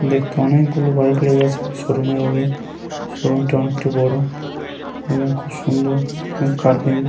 দেখতে অনেক গুলো বাইক লেগে আছে শোরুম - এর আগে। শোরুমটি অনেকটি বড় এবং খুব সুন্দর এবং কার্পেন--